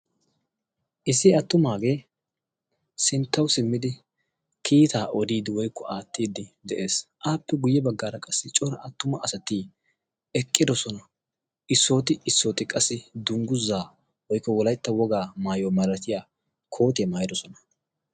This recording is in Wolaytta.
Issi attumaage sinttaw simmidi kiittay odiide woykko aattide de'ees. Appe guyye baggaara qassi attuma asati eqqidoosona. Issoti issoti qassi dungguza woykko wolaytta woga masattiyaa koottiyaa maayyidoosona.